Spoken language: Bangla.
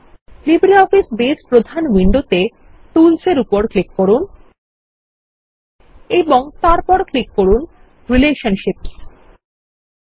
লিব্রে অফিস বেজ প্রধান উইন্ডোতে টুলস এর উপর ক্লিক করুন এবং তারপর ক্লিক করুন রিলেশনশিপসহ